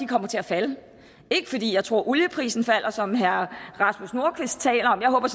kommer til at falde ikke fordi jeg tror at olieprisen falder som herre rasmus nordqvist taler om jeg håber